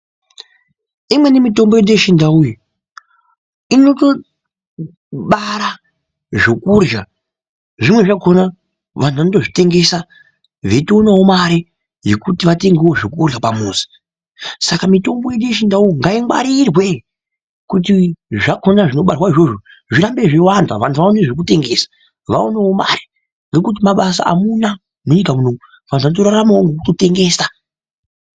Imweni mitombo yedu yechindau iyi, inotobara zvekurya, zvimweni zvakhona vanthu vanotozvitengesa, veitoonawo mare, yekuti vatengewo zvekurya pamuzi. Saka mitombo yedu yechindau iyi, ngaingwarirwe, kuti zvakhona zvinobarwazvo izvozvo zvirambe zveiwanda, vanthu vaone zvekutengesa, vaonewo mare, ngekuti mabasa amuna munyika munomu, vanthu vanotoraramawo ngekutotengesa.